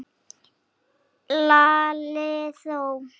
Lalli þó!